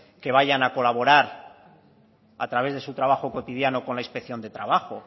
que vayan a colaborar a través de su trabajo cotidiano con la inspección de trabajo